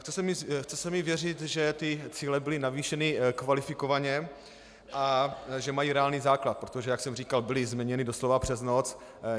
Chce se mi věřit, že ty cíle byly navýšeny kvalifikovaně a že mají reálný základ, protože jak jsem říkal, byly změněny doslova přes noc.